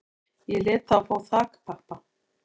Ég lét þá fá þakpappa